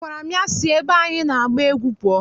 A gwara m ya si ebe anyị na-agba egwú pụọ!